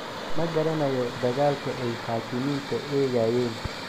Ma garanayo dagaalka ay (xaakimiinta) eegayeen."